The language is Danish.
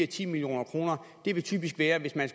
ti million kroner det vil typisk være hvis man